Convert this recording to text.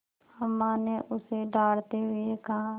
अम्मा ने उसे डाँटते हुए कहा